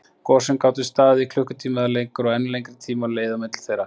Gosin gátu staðið í klukkutíma eða lengur, og enn lengri tími leið á milli þeirra.